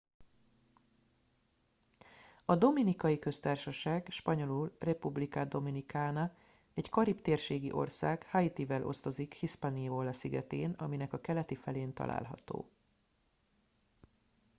a dominikai köztársaság spanyolul: república dominicana egy karib-térségi ország haitival osztozik hispaniola-szigetén aminek a keleti felén található